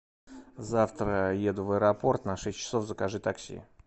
завтра еду в аэропорт на шесть часов закажи такси